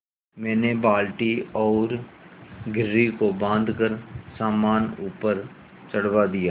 मैंने बाल्टी और घिर्री को बाँधकर सामान ऊपर चढ़वा दिया